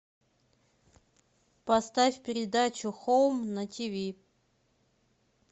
поставь передачу хоум на тиви